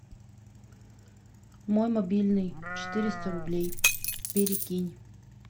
мой мобильный четыреста рублей перекинь